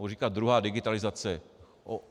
Budu říkat druhá digitalizace.